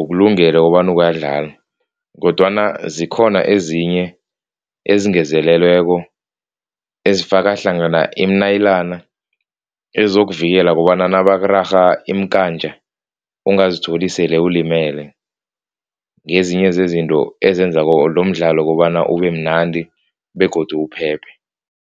ukulungele kobana ungadlala kodwana zikhona ezinye ezingezelelweko ezifaka hlangana iimnayilana ezokuvela kobana nabakurarha iimkantja, ungazithola sele ulimele, ngezinye zezinto ezenza lomdlalo ubemnandi begodu uphephe.